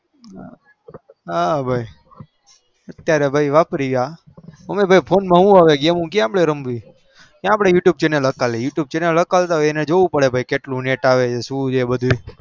અત્યારે આપડે હવે phone અપ્દેયા કયા game રમીએ અપડે કયા you tube હાકલ તા હોય તો અપડે જોવું પડે કે કેટલું net આવે છુ છે એ બધું